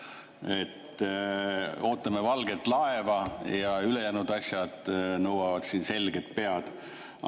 Et ootame valget laeva ja ülejäänud asjad nõuavad meilt selget pead.